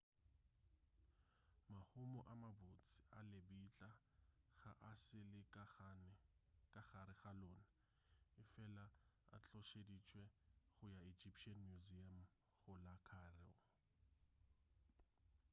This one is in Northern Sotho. mahumo a mabotse a lebitla ga a sa le ka gare ga lona efela a tlošeditšwe go ya egyptian museum go la cairo